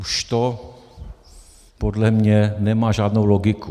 Už to podle mě nemá žádnou logiku.